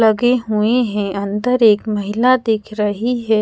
लगे हुए है अंदर एक महिला दिख रही हैं।